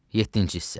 Yeddinci hissə.